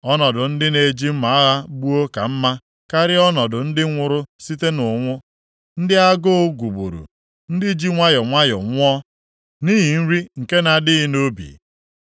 Ọnọdụ ndị e ji mma agha gbuo ka mma karịa ọnọdụ ndị nwụrụ site nʼụnwụ, ndị agụụ gụgburu, ndị ji nwayọọ nwayọọ nwụọ nʼihi nri nke na-adịghị nʼubi.